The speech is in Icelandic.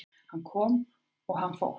Hann kom og hann fór